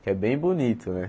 Que é bem bonito, né?